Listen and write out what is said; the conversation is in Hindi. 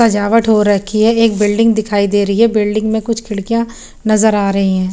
सजावट हो रखी है एक बिल्डिंग दिखाई दे रही है बिल्डिंग में कुछ खिड़कियां नजर आ रही हैं।